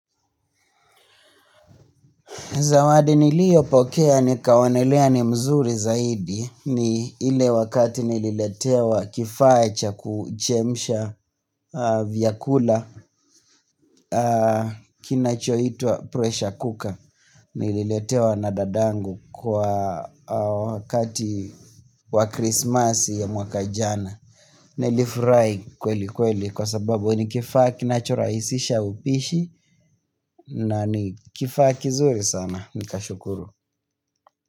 Zawadi niliyo pokea ni kaonelea ni mzuri zaidi ni ile wakati nililetewa kifaa cha kuchemsha vyakula kinachoitwa pressure cooker. Nililetewa na dadangu kwa wakati wa Christmas ya mwaka jana. Nilifurahi kweli kweli kwa sababu ni kifaa kinachorahisisha upishi na ni kifa kizuri sana. Nika shukuru.